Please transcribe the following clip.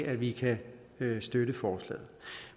at vi kan støtte forslaget